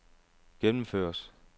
gennemføres